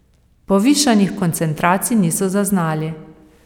Povišanih koncentracij niso zaznali.